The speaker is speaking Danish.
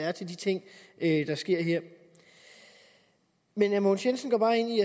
er til de ting der sker her men herre mogens jensen